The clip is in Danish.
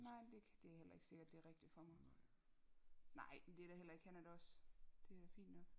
Nej det kan det er heller ikke sikkert det er rigtigt for mig nej det er da heller ikke han er også det er da fint nok